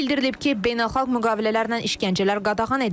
Bildirilib ki, beynəlxalq müqavilələrlə işgəncələr qadağan edilib.